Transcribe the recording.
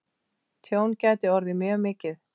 Tjón gæti orðið mjög mikið.